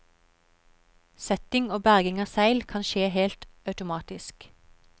Setting og berging av seil kan skje helt automatisk.